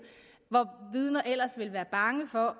hvor vidner ellers ville være bange for at